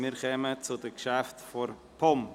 Wir kommen zu den Geschäften der POM.